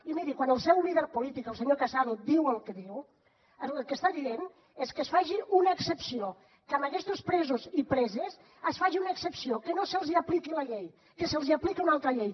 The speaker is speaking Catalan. i miri quan el seu líder polític el senyor casado diu el que diu el que està dient és que es faci una excepció que amb aquestos presos i preses es faci una excepció que no se’ls apliqui la llei que se’ls apliqui una altra llei